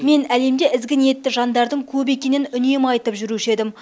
мен әлемде ізгі ниетті жандардың көп екенін үнемі айтып жүруші едім